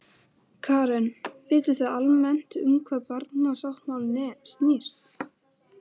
Karen: Vitið þið almennt um hvað barnasáttmálinn snýst?